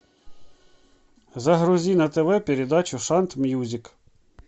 загрузи на тв передачу шант мьюзик